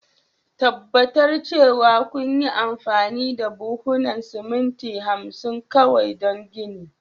tabbatar cewa kunyi amfani da buhunan siminti 50 kawai don ginin.